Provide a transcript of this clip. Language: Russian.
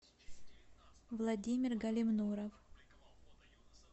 владимир галимнуров